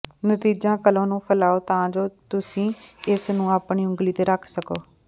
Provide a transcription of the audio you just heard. ਨਤੀਜਾ ਕਲੋ ਨੂੰ ਫੈਲਾਓ ਤਾਂ ਜੋ ਤੁਸੀਂ ਇਸ ਨੂੰ ਆਪਣੀ ਉਂਗਲੀ ਤੇ ਰੱਖ ਸਕੋ